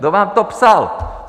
Kdo vám to psal?